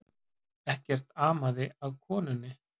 Ekkert amaði að konunni